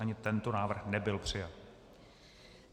Ani tento návrh nebyl přijat.